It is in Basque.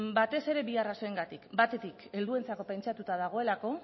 batez ere bi arrazoiengatik batetik helduentzako pentsatuta dagoelako